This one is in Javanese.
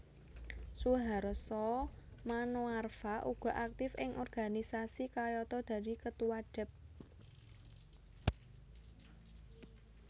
Suharso Manoarfa uga aktif ing organisasi kayata dadi Ketua Dep